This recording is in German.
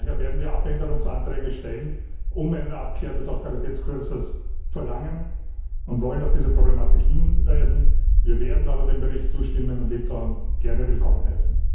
Daher werden wir Änderungsanträge stellen, um eine Abkehr vom Austeritätskurs zu verlangen, und wollen auf diese Problematik hinweisen. Wir werden aber dem Bericht zustimmen und Litauen gerne willkommen heißen.